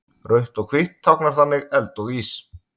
Rautt og hvítt táknar þannig eld og ís.